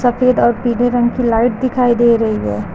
सफेद और पीले रंग की लाइट दिखाई दे रही है।